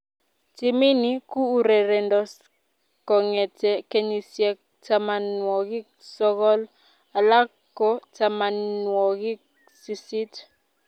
Timini ko urerendos kongete kenyisiek tamanwogik sogol, alak ko tamanwogik sisit